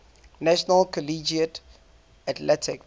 national collegiate athletic